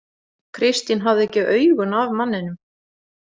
Kristín hafði ekki augun af manninum.